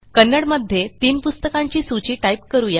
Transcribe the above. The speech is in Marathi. कन्नड मध्ये तीन पुस्तकांची सूची टाईप करू या